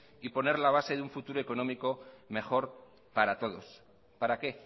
y poner la base de un futuro económico mejora para todos para qué